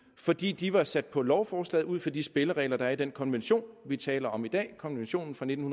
fordi de var sat på lovforslaget ud fra de spilleregler der er i den konvention vi taler om i dag konventionen fra nitten